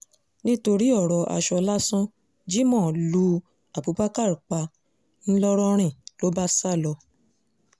nítorí ọ̀rọ̀ aṣọ lásán jimoh lu abubakar pa ńlọrọrin ló bá sá lọ